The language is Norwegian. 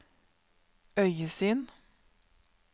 øyesyn